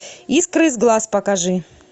искры из глаз покажи